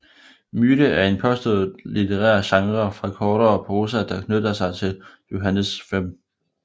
Myte er en påstået litterær genre for kortere prosa der knytter sig til Johannes V